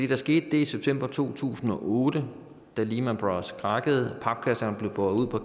der skete det i september to tusind og otte da lehman brothers krakkede og papkasserne blive båret ud og